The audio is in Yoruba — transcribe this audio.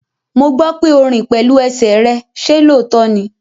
Mo gbọ́ pé o rìn pẹ̀lú ẹsẹ̀ rẹ, ṣe lóòótọ́ ní?